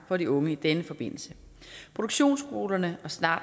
for de unge i denne forbindelse produktionsskolerne og snart